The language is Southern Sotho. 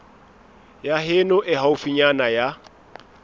ya heno e haufinyana ya